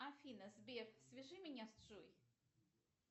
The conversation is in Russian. афина сбер свяжи меня с джой